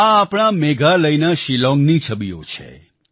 આ આપણા મેઘાલયના શિલોંગની છબીઓ છે